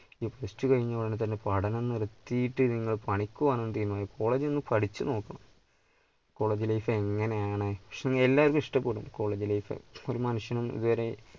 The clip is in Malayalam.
plus two കഴിഞ്ഞ ഉടനെ പഠനം നിർത്തിയിട്ട് നിങ്ങൾ പണിക്കു പോകാൻ ഒന്ന് തീരുമാനിക്കരുത് college ൽ ഒന്ന് പഠിച്ചു നോക്ക് college life എങ്ങനെ ആണ്, എല്ലാവർക്കും ഇഷ്ടപ്പെടും college life ഒരു മനുഷ്യനും ഇതുവരെ